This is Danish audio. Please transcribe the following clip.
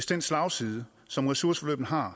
den slagside som ressourceforløbene har